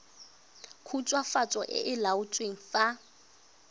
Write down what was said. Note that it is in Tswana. khutswafatso e e laotsweng fa